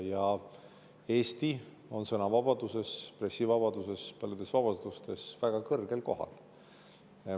Ja Eesti on sõnavabaduses, pressivabaduses, paljudes vabadustes väga kõrgel kohal.